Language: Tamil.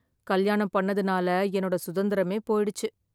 கல்யாணம் பண்ணதுனால என்னோட சுதந்திரமே போயிடுச்சு.